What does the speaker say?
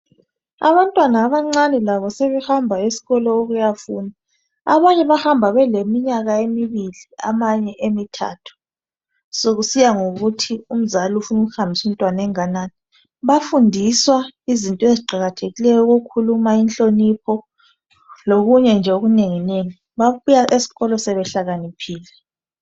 abantwana abancane lao sebehamba esikolo ukuyafunda abanye bahamba beleminyaka emibili abanye emithathu sokusiya ngokuthi umzali ufuna ukuhambisa umntwana enganani bayafundiswa izinto eziqakathekileyo ezifana lokukhuluma inhonipho lokunye nje okunengi okunengi babuya esikolo sebehlakaniphile